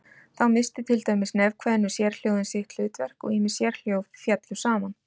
Þá misstu til dæmis nefkveðnu sérhljóðin sitt hlutverk og ýmis sérhljóð féllu saman.